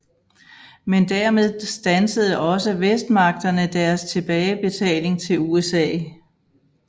Men dermed standsede også Vestmagterne deres tilbagebetaling til USA